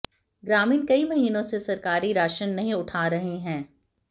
ग्रामीण कई महीनों से सरकारी राशन नहीं उठा रहे हैं